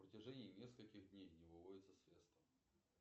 на протяжении нескольких дней не выводятся средства